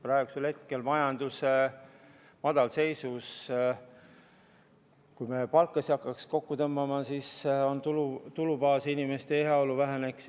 Praegu, majanduse madalseisus, kui me hakkaksime palkasid kokku tõmbama, siis tulubaas ja inimeste heaolu väheneks.